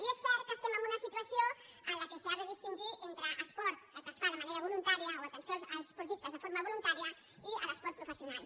i és cert que estem en una situació en què s’ha de distingir entre esport que es fa de manera voluntària o atenció als esportistes de forma voluntària i l’esport professional